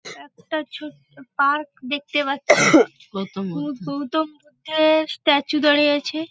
একটা ছোট্ট পার্ক দেখতে পাচ্ছি। গৌতম বুদ্ধের-অ স্ট্যাচু দাঁড়িয়ে আছে।